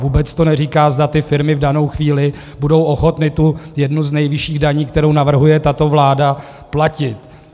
Vůbec to neříká, zda ty firmy v danou chvíli budou ochotny tu jednu z nejvyšších daní, kterou navrhuje tato vláda, platit.